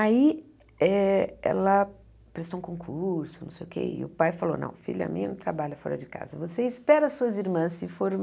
Aí eh ela prestou um concurso, não sei o quê, e o pai falou, não, filha minha não trabalha fora de casa, você espera as suas irmãs se